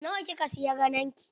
Nawa kika siya gadon ki?